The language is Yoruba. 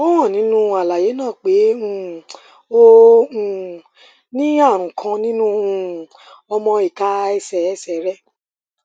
ó hàn nínú àlàyé náà pé um o um ní ààrùn kan nínú um ọmọ ìka ẹsẹ ẹsẹ rẹ